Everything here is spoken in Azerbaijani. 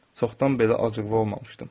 Çoxdan belə acıqlı olmamışdım.